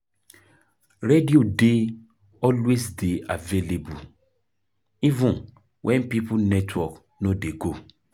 Radio dey always dey available even when phone network no dey go